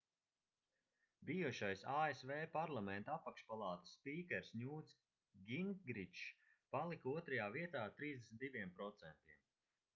bijušais asv parlamenta apakšpalātas spīkers ņūts gingričs palika otrajā vietā ar 32%